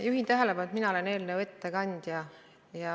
Juhin tähelepanu, et mina olen eelnõu ettekandja.